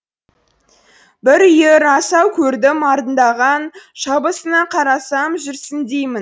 бір үйір асау көрдім арындаған шабысына қарасам жүрсін деймін